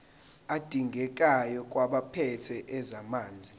adingekayo kwabaphethe ezamanzi